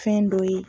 Fɛn dɔ ye